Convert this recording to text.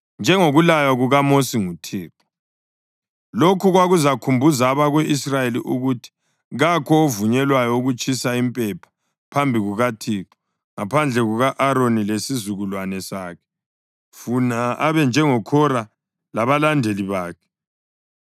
njengokulaywa kukaMosi nguThixo. Lokhu kwakuzakhumbuza abako-Israyeli ukuthi kakho ovunyelwayo ukutshisa impepha phambi kukaThixo ngaphandle kuka-Aroni lesizukulwane sakhe, funa abe njengoKhora labalandeli bakhe.